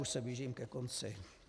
Už se blížím ke konci.